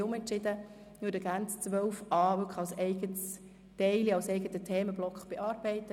Wir haben uns nun anders entschieden und würden nun gerne 12.a als eigenen Themenblock bearbeiten.